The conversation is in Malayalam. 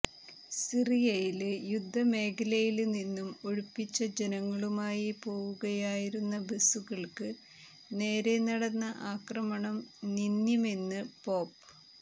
സിറിയയില് യുദ്ധമേഖലയില് നിന്നും ഒഴിപ്പിച്ച ജനങ്ങളുമായി പോവുകയായിരുന്ന ബസ്സുകള്ക്ക് നേരേ നടന്ന ആക്രമണം നിന്ദ്യമെന്ന് പോപ്